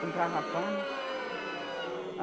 Comprava pano.